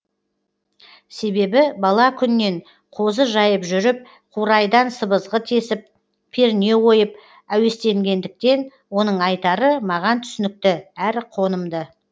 себебі бала күннен қозы жайып жүріп қурайдан сыбызғы тесіп перне ойып әуестенгендіктен оның айтары маған түсінікті әрі қонымды